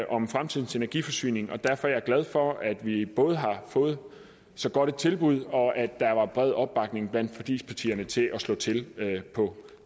om fremtidens energiforsyning derfor er jeg glad for at vi både har fået så godt et tilbud og at der var bred opbakning blandt forligspartierne til at slå til på